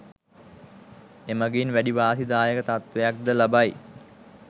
එමගින් වැඩි වාසි දායක තත්වයක් ද ලබයි.